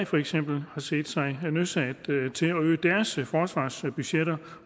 for eksempel set sig nødsaget til at øge deres forsvarsbudgetter